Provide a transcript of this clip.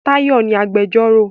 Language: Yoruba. Táyọ̀ ni agbẹjọ́rò.